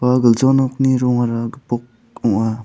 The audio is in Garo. ua gilja nokni rongara gipok ong·a.